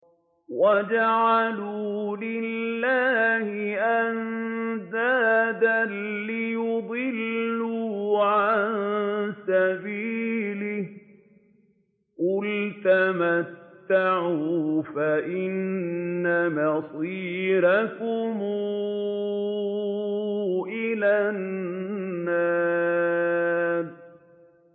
وَجَعَلُوا لِلَّهِ أَندَادًا لِّيُضِلُّوا عَن سَبِيلِهِ ۗ قُلْ تَمَتَّعُوا فَإِنَّ مَصِيرَكُمْ إِلَى النَّارِ